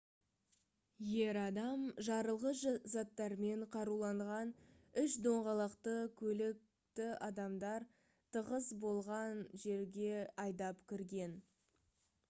ер адам жарылғыш заттармен қаруланған үш доңғалақты көлікті адамдар тығыз болған жерге айдап кірген